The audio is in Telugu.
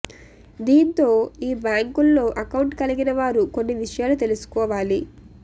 దీంతో ఈ బ్యాంకుల్లో అకౌంట్ కలిగిన వారు కొన్ని విషయాలు తెలుసుకోవాలి